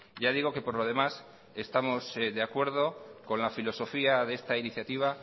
ya digo que por lo demás estamos de acuerdo con la filosofía de esta iniciativa